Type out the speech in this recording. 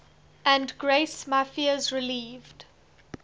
and grace my fears relieved